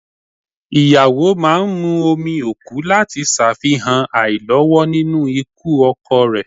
Ìyàwó máa ń mu omi òkú láti ṣàfihàn àìlọ́wọ́ nínú ikú ọkọ rẹ